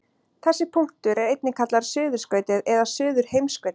Þessi punktur er einnig kallaður suðurskautið eða suðurheimskautið.